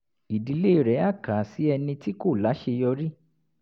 ìdílé rẹ̀ á kà á sí ẹni tí kò láṣeyọrí